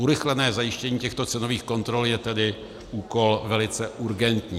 Urychlené zajištění těchto cenových kontrol je tedy úkol velice urgentní.